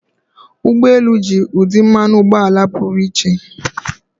Ụgbọ elu ji ụdị mmanụ ụgbọala pụrụ iche.